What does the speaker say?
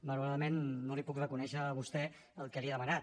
malauradament no li puc reconèixer a vostè el que li he demanat